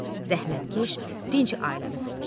Zəhmətkeş, dinç ailəmiz olub.